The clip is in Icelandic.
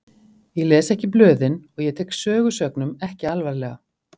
Ég les ekki blöðin og ég tek sögusögnum ekki alvarlega.